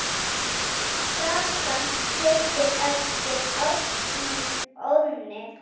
Gatan heitir eftir ásnum Óðni.